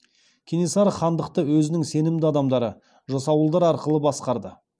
кенесары хандықты өзінің сенімді адамдары жасауылдар арқылы басқарды